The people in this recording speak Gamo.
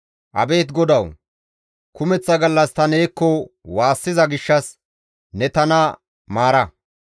Abeet Godawu! Kumeththa gallas ta neekko waassiza gishshas ne tana maara.